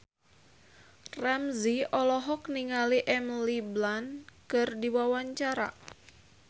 Ramzy olohok ningali Emily Blunt keur diwawancara